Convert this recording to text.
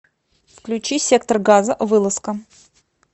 включи сектор газа вылазка